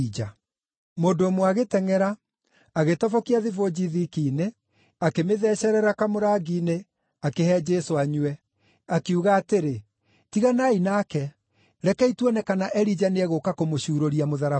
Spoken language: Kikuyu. Mũndũ ũmwe agĩtengʼera, agĩtobokia thibũnji thiki-inĩ akĩmĩthecerera kamũrangi-inĩ akĩhe Jesũ anyue. Akiuga atĩrĩ, “Tiganai nake. Rekei tuone kana Elija nĩegũũka kũmũcuurũria mũtharaba-inĩ.”